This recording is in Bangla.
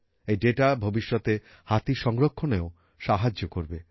এই দাতা ভবিষ্যতে হাতি সংরক্ষণেও সাহায্য করবে